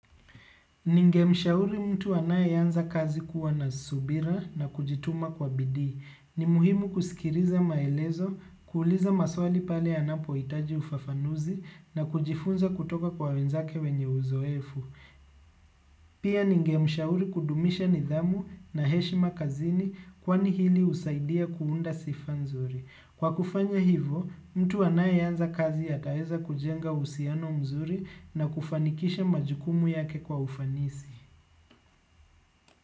Ningemshauri mtu anayeanza kazi kuwa na subira na kujituma kwa bidii. Ni muhimu kusikiliza maelezo, kuuliza maswali pale anapohitaji ufafanuzi na kujifunza kutoka kwa wenzake wenye uzoefu. Pia ningemshauri kudumisha nidhamu na heshima kazini kwani hili husaidia kuunda sifaa nzuri. Kwa kufanya hivyo, mtu anayeanza kazi ataweza kujenga uhusiano mzuri na kufanikisha majukumu yake kwa ufanisi.